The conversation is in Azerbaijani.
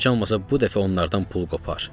Heç olmasa bu dəfə onlardan pul qopar.